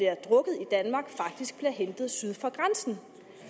danmark faktisk bliver hentet syd for grænsen